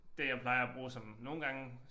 Det jeg plejer at bruge sådan nogle gange